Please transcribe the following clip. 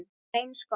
Það var eins gott!